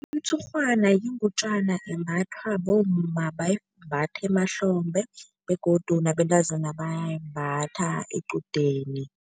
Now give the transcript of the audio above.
Umtshurhwana yingutjana embathwa bomma, bayimbatha emahlombe begodu nabentazana bayayimbatha equdeni.